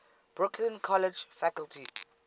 brooklyn college faculty